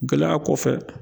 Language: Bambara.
Gɛlɛya kɔfɛ